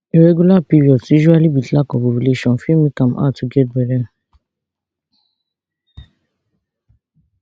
irregular periods usually with lack of ovulation fit make am hard to get to get belle